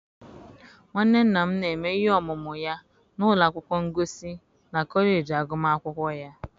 nwanne nna m, na-eme ihe ọmụmụ ya na ụlọ akwụkwọ ngosi na kọleji agụmakwụkwọ ya.